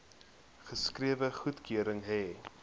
geskrewe goedkeuring hê